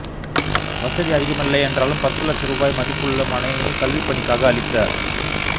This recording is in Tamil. வசதி அதிகமில்லை என்றாலும் பத்துலட்ச ரூபாய மதிப்புள்ள மனையை கல்விப்பணிக்காக அளித்த